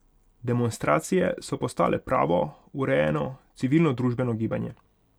Demonstracije so postale pravo, urejeno civilnodružbeno gibanje.